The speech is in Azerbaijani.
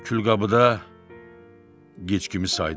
Külqabıda gic kimi saydı.